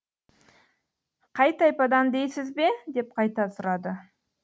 қай тайпадан дейсіз бе деп қайта сұрады